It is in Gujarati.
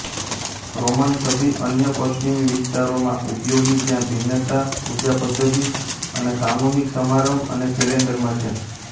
રોમન સભી અન્ય પશ્ચિમી વિસ્તારોમાં ઉપયોગી જ્યાં ભિન્નતા પૂજાપદ્ધિત અને સામૂહિક સમારંભ અને કેલેન્ડરમાં છે